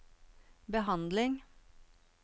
behandling